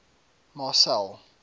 marcel